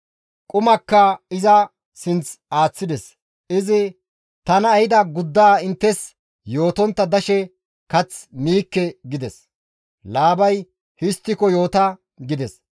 Qumakka iza sinth aaththides; izi, «Tana ehida guddaa inttes yootontta dashe kath miikke» gides. Laabay, «Histtiko yoota» gides.